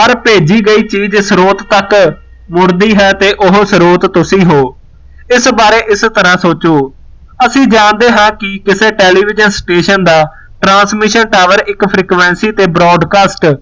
ਭੇਜੀ ਗਈ ਚੀਜ਼ ਸਰੋਤ ਤੱਕ ਮੁੜਦੀ ਹੈ ਤੇ ਉਹ ਸਰੋਤ ਤੁਸੀ ਹੋ ਇਸ ਬਾਰੇ ਇਸ ਤਰਾਂ ਸੋਚੋ ਅਸੀਂ ਜਾਣਦੇ ਹਾਂ ਕਿ ਕਿਸੇ television station ਦਾ transmission tower ਇਕ frequency ਤੇ broadcast